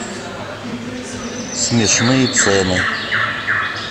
смешные цены